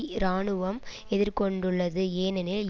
இராணுவம் எதிர்கொண்டுள்ளது ஏனெனில்